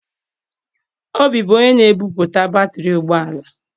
Obi bụ onye na-ebubata batrị ụgbọ ala.